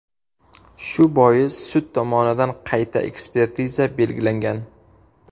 Shu bois sud tomonidan qayta ekspertiza belgilangan.